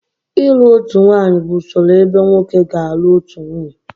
ịlụ otu nwanyị bụ usoro ebe nwoke ga-alụ otu nwunye